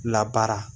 Labaara